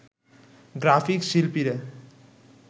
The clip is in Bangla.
গ্রাফিক শিল্পীরা